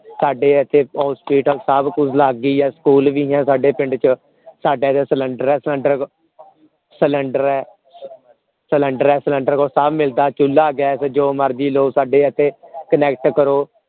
ਸਾਡੇ ਇਥੇ hospital ਬਹੁਤ ਕੁਛ ਲੱਗ ਗਈ ਹੈ ਸਕੂਲ ਵੀ ਹੈ ਸਾਡੇ ਪਿੰਡ ਚ ਸਾਡਾ ਜੋ cylinder ਹੈ cylinder ਹੈ cylinder ਹੈ ਹੋਰ ਸਭ ਮਿਲਦਾ ਏ ਚੁੱਲ੍ਹਾ gas ਜੋ ਮਰਜੀ ਸਾਡੇ ਇਥੇ connect ਕਰੋ